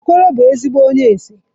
Okoro bu ezigbo onye ese